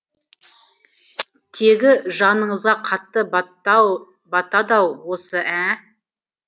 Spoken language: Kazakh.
тегі жаныңызға қатты батады ау осы ә ә